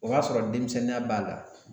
O y'a sɔrɔ denmisɛnninya b'a la